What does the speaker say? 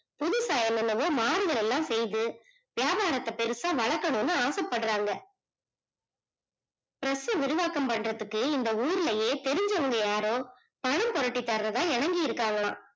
புதுசா மாம்பழம் எல்லாம் பேயுது வியாபாரத்த பெருசா வழக்கணும்னு ஆசப்படுறாங்க press விரிவாக்கம் பண்ணுறதுக்கு இந்த ஊருலயே தெரிஞ்சவங்க யாரோ பணம் போரட்டி தரதா இணங்கிருக்காங்கலாம்